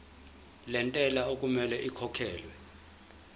lentela okumele ikhokhekhelwe